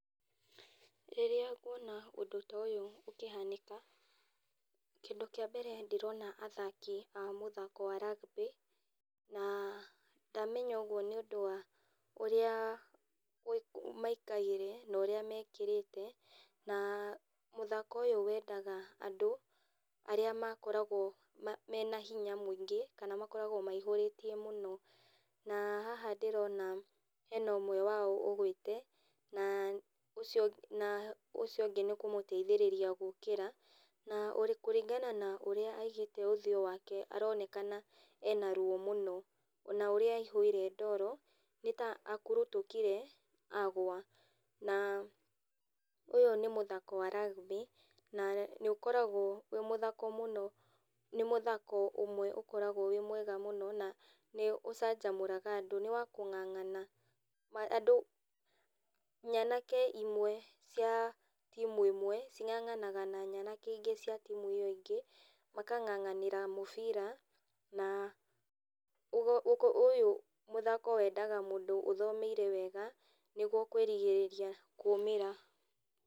Rĩrĩa nguona ũndũ toyũ ũkĩhanĩka, kĩndũ kĩa mbere ndĩrona athaki a mũthako wa rugby na ndamenya ũguo nĩ ũndũ wa ũrĩa maikaire na ũrĩa mekĩrĩte na mũthako ũyũ wendaga andũ arĩa makoragwo mena hinya mũingĩ kana makoragwo maihũrĩtie mũno. Na haha ndĩrona hena ũmwe wao ũgũĩte na ũcio ũngĩ nĩ kũmũteithĩrĩria gũkĩra na ũrĩ kũringana na ũrĩa aigĩte ũthĩũ wake, aronekana ena ruo mũno, ona ũrĩa aihũire ndoro, nĩ ta akurutũkire agũa. Na ũyũ nĩ mũthako wa rugby na nĩ ũkoragwo wĩ mũthako mũno, nĩ mũthako ũmwe ũkoragwo wĩ mwega mũno na nĩ ũcanjamũraga andũ. Nĩ wa kung'ang'ana, nyanake imwe cia team ĩmwe cing'ang'anaga na nyanake ingĩ cia team ĩyo ĩngĩ, makang'ang'anĩra mũbira. Na ũyũ mũthako wendaga mũndũ ũthomeire wega nĩguo kũĩrigĩrĩria kumĩra.